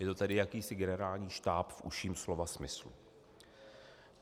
Je to tedy jakýsi generální štáb v užším slova smyslu.